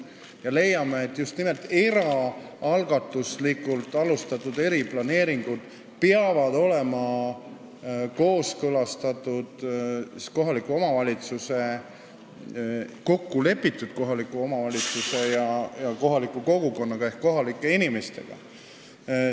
Me leiame, et just nimelt eraalgatuslikult alustatud eriplaneeringud peavad olema kooskõlastatud, kokku lepitud kohaliku omavalitsuse ja kohaliku kogukonnaga ehk kohalike inimestega.